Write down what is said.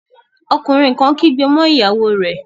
Ọkùnrin kan kígbe mọ́ ìyàwó rẹ̀